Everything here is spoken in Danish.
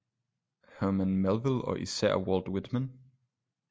Herman melville og især walt whitman